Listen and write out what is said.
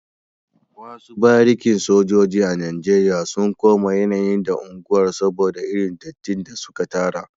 Wasu barikin sojoji a Najeriya sun koma yanayi da unguwar soboda irin dattin da suka tara